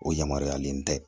O yamaruyalen tɛ